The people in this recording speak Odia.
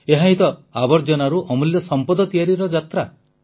ଏହାହିଁ ତ ଆବର୍ଜନାରୁ ଅମୂଲ୍ୟ ସମ୍ପଦ ତିଆରିର ଯାତ୍ରା